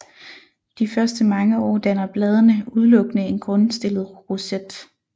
De første mange år danner bladene udelukkende en grundstillet roset